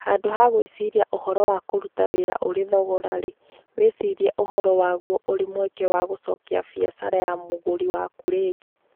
Handũ ha gwĩciria ũhoro wa kũruta wĩra ũrĩ thogora-rĩ, wĩcirie ũhoro waguo ũrĩ mweke wa gũcokia biacara ya mũgũri waku rĩngĩ.